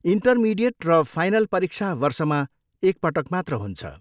Intermediate र final परीक्षा वर्षमा एक पटक मात्र हुन्छ।